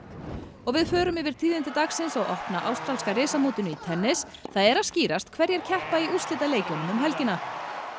og við förum yfir tíðindi dagsins á opna ástralska í tennis það er að skýrast hverjir keppa í úrslitaleikjunum um helgina